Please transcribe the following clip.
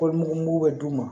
Ko mugu mugu bɛ d'u ma